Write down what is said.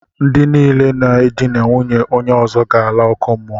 Ndi niile na e dina nwaanyị onye ozo ga ala oku muo.